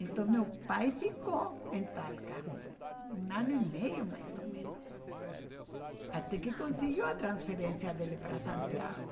Então meu pai ficou em Talca um ano e meio, mais ou menos, até que conseguiu a transferência dele para Santiago.